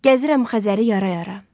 Gəzirəm Xəzəri yara-yara.